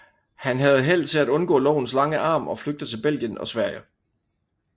Han havde held til at undgå lovens lange arm og flygte til Belgien og Sverige